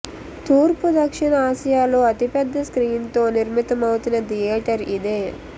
తూర్పు దక్షణ ఆసియాలో అతిపెద్ద స్క్రీన్ తో నిర్మితమవుతున్న థియేటర్ ఇదే